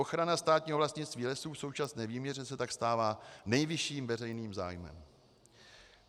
Ochrana státního vlastnictví lesů v současné výměře se tak stává nejvyšším veřejným zájmem.